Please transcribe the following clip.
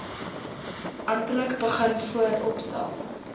amptelik begin vooropstel